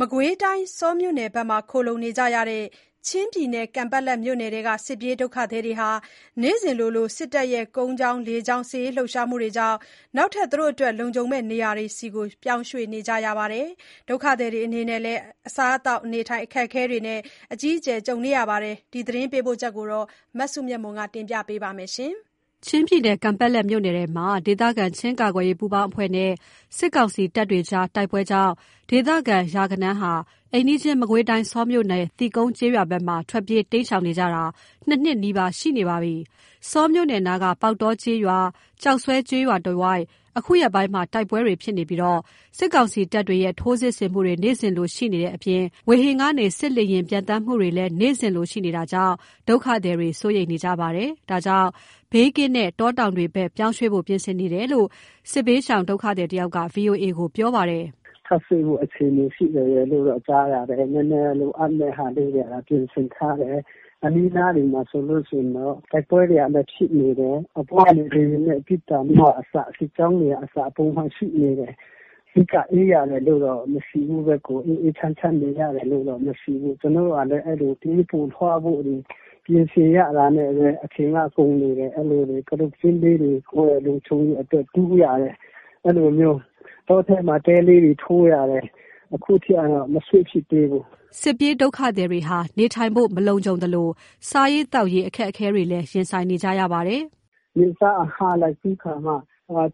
မကွေးတိုင်း ဆောမြို့နယ်ဘက်မှာ ခိုလှုံနေကြရတဲ့ ချင်းပြည်နယ် ကန်ပက်လက်မြို့နယ်ထဲက စစ်ပြေးဒုက္ခသည်တွေဟာ နေ့စဉ်လို စစ်တပ်ရဲ့ ကုန်းကြောင်း လေကြောင်း စစ်ရေးလှုပ်ရှားမှုတွေကြောင့် နောက်ထပ် လုံခြုံမယ့်နေရာတွေဆီ ပြောင်းရွေ့နေကြရပါတယ်။ ဒုက္ခသည်တွေအနေနဲ့ အစားအသောက် အခက်အခဲကိုလည်း အကြီးအကျယ် ကြုံနေကြရတဲ့အကြောင်း သတင်းပေးပို့ချက်ကို မစုမြတ်မွန် တင်ပြပါမယ်။ ချင်းပြည်နယ် ကန်ပက်လက်မြို့နယ်ထဲမှာ ဒေသခံချင်းကာကွယ်ရေးပူးပေါင်းအဖွဲ့နဲ့ စစ်ကောင်စီတပ်တွေကြား တိုက်ပွဲကြောင့် ဒေသခံရာဂဏန်းဟာ၊ အိမ်နီးချင်း မကွေးတိုင်း၊ ဆောမြို့နယ် သီးကုံးကျေးရွာဘက်မှာ ထွက်ပြေးတိမ်းရှောင်နေကြတာ ၂ နှစ်နီးပါးရှိနေပါပြီ။ ဆောမြို့နယ်နားက ပေါက်တောကျေးရွာ ကျောက်ဆွဲကျေးရွာတဝိုက် အခုရက်ပိုင်း တိုက်ပွဲတွေဖြစ်ပြီး၊ စစ်ကောင်စီတပ်တွေရဲ့ ထိုးစစ်ဆင်မှုတွေ နေ့စဉ်လို ရှိနေတဲ့အပြင် ဝေဟင်ကနေ စစ်လေယာဉ် ပျံသန်းမှုတွေလည်း နေ့စဉ်လိုရှိနေတာကြောင့် ဒုက္ခသည်တွေ စိုးရိမ်နေကြပါတယ်။ ဒါကြောင့် ဘေးကင်းတဲ့ တောတောင်တွေဘက် ပြောင်းရွှေ့ကြဖို့ ပြင်ဆင်နေတယ်လို့ စစ်ရှောင်တစ်ဦးက ဗွီအိုအေကို ပြောပါတယ်။ “ထပ်ရွှေ့ဖို့ အခြေအနေရှိတယ်လို့ကြားတာပဲ နည်းနည်း လိုအပ်မယ့်ဟာလေးတွေ ပြင်ဆင်ထားတယ်။ အနီးအနားတွေမှာဆိုလိုရှိရင်တော့ တိုက်ပွဲတွေက ဖြစ်နေတယ်၊ အပေါ်ကနေ လေယာဉ်နဲ့ ပစ်သံကအစ စစ်ကြောင်းတွေက ပုံမှန်ရှိနေတယ် အဓိက အေးရတယ်လို့တော့ မရှိဘူးပဲ ကိုယ်အေးအေးချမ်းချမ်းနေရတယ်လို့တော့ မရှိဘူး ကျနော်တို့ကလည်း အဲ့လိုပြေးဖို့လွှားဖို့ ပြင်ဆင်ရတာနဲ့ပဲ အချိန်က ကုန်းနေတယ် အဲ့လိုတွေက ကတုတ်ကျင်းလေတွေ ကိုယ့်ရဲ့ လုံခြုံရေးအတွက် တူးရတယ် အဲ့လိုမျိုး တောထဲမှာ တဲလေးတွေ ထိုးရတယ် အခုထိကတော့ မရွှေ့ဖြစ်သေးဘူး။” စစ်ပြေးဒုက္ခသည်တွေဟာ နေထိုင်ဖို့ မလုံခြုံသလို စားရေး သောက်ရေး အခက်အခဲတွေလည်း ရင်ဆိုင်နေကြရပါတယ်။ “နေ့စားအငှားလိုက်ပြီးခါမှ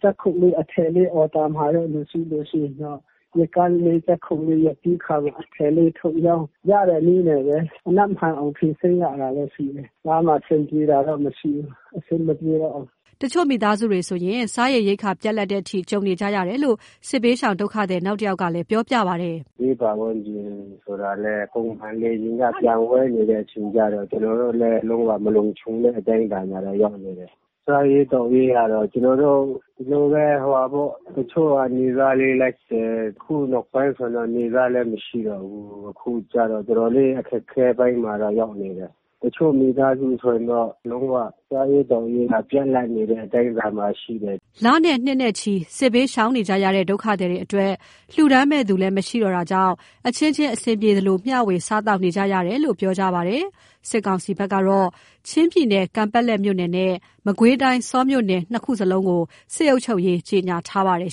ဂျပ်ခုတ်လေး အထည်လေးအော်ဒါမှာတဲ့လူရှိလို့ရင်တော့ ရက်ကန်းလေး ဂျပ်ခုတ်လေးရက်ပြီးခါမှ အထည်လေးထုတ်ရောင်းရတဲ့နည်းနဲ့ပဲ ကြံဖန်ဖြေရှင်းရတာရှိတယ်။ ကြားမှာ အဆင်ပြေတာတော့မရှိဘူး။ အဆင်မပြေတော့ဘူး။” တချို့မိသားစုတွေဆို စားရေရိက္ခာပြတ်လပ်တဲ့အထိ ကြုံနေကြရတယ်လို့ စစ်ဘေးရှောင် ဒုက္ခသည် နောက်တယောက်ကလည်း ပြောပြပါတယ်။ “ဘေးပတ်ဝန်းကျင်ဆိုလည်း ပုံမှန်လေယာဉ်က ပျံဝဲနေတဲ့ အချိန်ကျတော့ ကျနော်တို့လည်း လုံးဝမလုံခြုံတဲ့အတိုင်းအတာကတော့ ရောက်နေတယ်။ စားရေးသောက်ရေးကတော့ ကျနော်တို့ ဒီလိုပဲဟိုဟာပေါ့ တချို့ကနေ့စားလေလိုက်တယ် အခုနောက်ပိုင်းဆိုရင်တော့ နေ့စားလည်းမရှိတော့ဘူး။ အခုကျတော့ တော်တော်လေး အခက်အခဲပိုင်းမှာတော့ ရောက်နေတယ်။ တချို့မိသားစုဆိုရင်တော့ လုံးဝစားရေးသောက်ရေးက ပြတ်လပ်နေတဲ့အတိုင်းအတာမှာရှိတယ်။” လနဲ့ နှစ်နဲ့ချီ စစ်ဘေးရှောင်နေကြရတဲ့ ဒုက္ခသည်တွေအတွက် လှူဒါန်းမယ့်သူလည်း မရှိတော့တာကြောင့် အချင်းချင်း အဆင်ပြေသလို မျှဝေ စားသောက်နေကြရတယ်လို့ ပြောကြပါတယ်။ စစ်ကောင်စီဘက်ကတော့ ချင်းပြည်နယ် ကန်ပက်လက်မြို့နယ်နဲ့ မကွေးတိုင်းဆောမြို့နယ် ၂ ခုလုံးကိုလည်း စစ်အုပ်ချုပ်ရေး ကြေညာထားပါတယ်